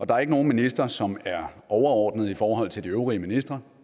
der er ikke nogen minister som er overordnet i forhold til de øvrige ministre